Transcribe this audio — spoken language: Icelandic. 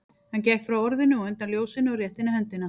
Hann gekk frá orðinu og undan ljósinu og rétti henni höndina.